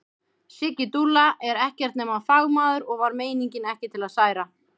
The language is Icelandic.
Siggi dúlla er ekkert nema fagmaður og var meiningin ekki til að særa.